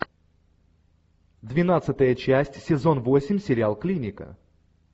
двенадцатая часть сезон восемь сериал клиника